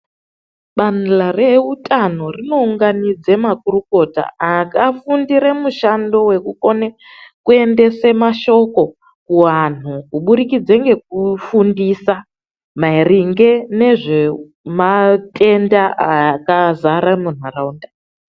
Badhla reutano rinounganidze makurukota, akafundire mushando wekukone kuendese mashoko kuantu, kubudikidze ngekufundisa maringe nezvematenda akazara muntaraunda.